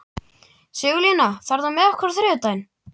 Sigurlína, ferð þú með okkur á þriðjudaginn?